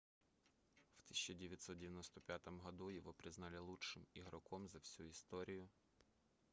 в 1995 году его признали лучшим игроком за всю историю партизана